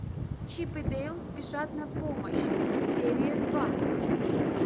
чип и дейл спешат на помощь серия два